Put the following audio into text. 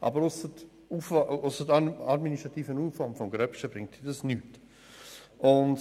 Aber ausser einem riesigen administrativen Aufwand bringt das nichts.